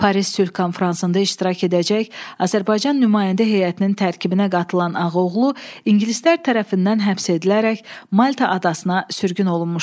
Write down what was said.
Paris sülh konfransında iştirak edəcək Azərbaycan nümayəndə heyətinin tərkibinə qatılan Ağaoğlu ingilislər tərəfindən həbs edilərək Malta adasına sürgün olunmuşdu.